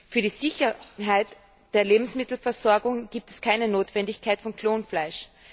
Für die Sicherheit der Lebensmittelversorgung gibt es keine Notwendigkeit von Klonfleisch.